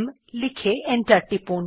m লিখে enter টিপুন